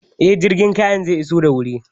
Eh, jirgin kayan zai iso da wuri